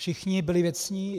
Všichni byli věcní.